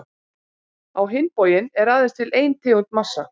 Á hinn bóginn er aðeins til ein tegund massa.